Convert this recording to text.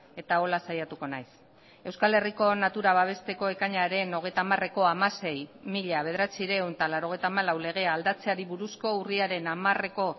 eta horrela saiatuko naiz eusko herriko natura babesteko ekainaren hogeita hamareko hamasei barra mila bederatziehun eta laurogeita hamalau legea aldatzeari buruzko urriaren hamareko